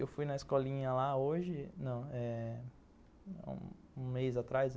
Eu fui na escolinha lá hoje, não, um mês atrás.